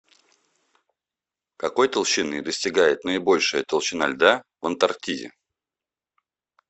какой толщины достигает наибольшая толщина льда в антарктиде